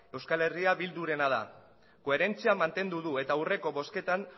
eh bildurena da koherentzia mantendu du eta aurreko bozketan